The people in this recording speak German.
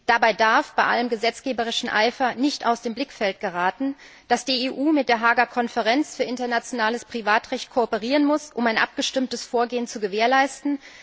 Dabei darf bei allem gesetzgeberischen Eifer nicht aus dem Blickfeld geraten, dass die EU mit der Haager Konferenz für internationales Privatrecht kooperieren muss, um ein abgestimmtes Vorgehen zu gewährleisten.